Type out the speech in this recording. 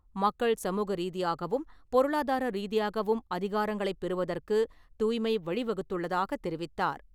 மக்கள் சமூக ரீதியாகவும், பொருளாதார ரீதியாகவும் அதிகாரங்களை பெறுவதற்கு தூய்மை வழிவகுத்துள்ளதாக தெரிவித்தார்.